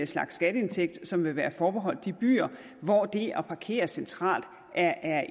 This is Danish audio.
slags skatteindtægt som vil være forbeholdt de byer hvor det at parkere centralt er